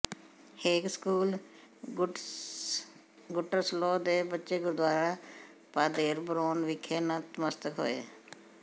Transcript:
ਹੇਗ school Gutersloh ਦੇ ਬੱਚੇ gurdwara Paderborn ਵਿਖੇ ਨਮਸਤਕ ਹੋਏ